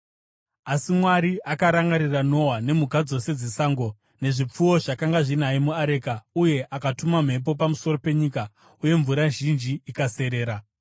Asi Mwari akarangarira Noa nemhuka dzose dzesango nezvipfuwo zvakanga zvinaye muareka, uye akatuma mhepo pamusoro penyika, uye mvura zhinji ikaserera.